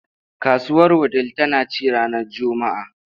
Kasuwar Wudil tana ci ranar Juma’a.